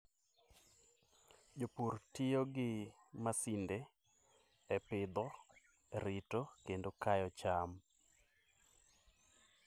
Jopur tiyo gi masinde e pidho, rito, kendo kayo cham.